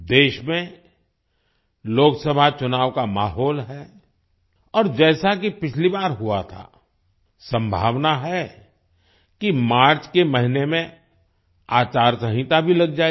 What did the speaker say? देश में लोकसभा चुनाव का माहौल है और जैसा कि पिछली बार हुआ था संभावना है कि मार्च के महीने में आचारसंहिता भी लग जाएगी